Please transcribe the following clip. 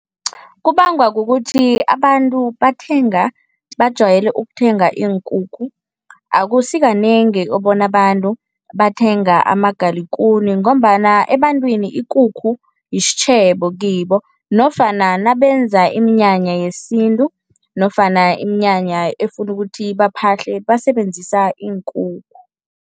Kubangwa kukuthi abantu bathenga bajwayele ukuthenga iinkukhu. Akusikanengi ubona abantu bathenga amagalikuni ngombana ebantwini ikukhu yisitjhebo kibo nofana nabenza iminyanya yesintu nofana iminyanya efuna ukuthi baphahle basebenzisa iinkukhu.